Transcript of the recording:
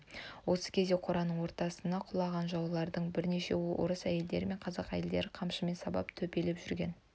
осы кезде қораның ортасына құлаған жаулардың бірнешеуін орыс әйелдері мен қазақ әйелдері қамшымен сабап төпелеп жүрген